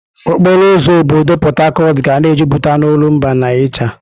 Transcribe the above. Okporo ụzọ obodo Port Harcourt ga na-ejupụta n'olumba na ịcha.